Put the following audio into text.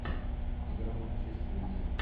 игра манчестер юнайтед